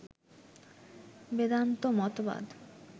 বেদান্ত মতবাদ